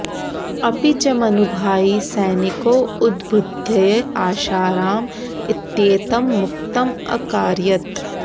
अपि च मनुभाइ सैनिकौ उद्बुद्ध्य आशाराम इत्येतं मुक्तम् अकारयत्